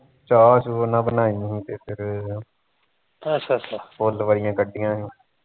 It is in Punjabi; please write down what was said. ਚਾਹ ਚੁ ਨਾ ਬਣਾਈ ਹੁਣ ਤੇ ਫਰ ਫੁੱਲ ਵਾਲੀਆ ਕੱਡੀਆ ਸੀ